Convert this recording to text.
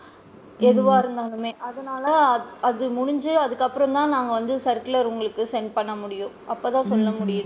எதுவா இருந்தாலுமே அதனால அது முடிஞ்சு அதுக்கு அப்பறம் தான் நாங்க circular உங்களுக்கு send பண்ண முடியும் அப்ப தான் சொல்ல முடியும்.